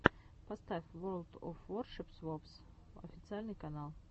поставь ворлд оф воршипс вовс официальный канал